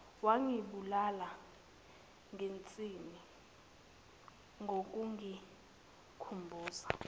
wangibulala ngensini ngokungikhumbuza